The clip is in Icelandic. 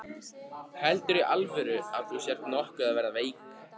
Heldurðu í alvöru að þú sért nokkuð að verða veik.